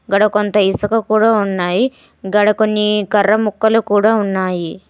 గాడ కొంత ఇసుక కూడా ఉన్నాయి. గాడ కొన్ని కర్ర ముక్కలు కూడా ఉన్నాయి.